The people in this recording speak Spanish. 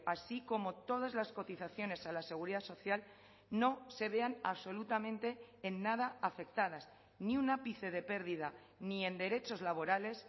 así como todas las cotizaciones a la seguridad social no se vean absolutamente en nada afectadas ni un ápice de pérdida ni en derechos laborales